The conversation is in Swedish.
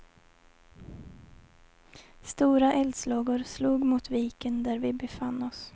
Stora eldslågor slog mot viken där vi befann oss.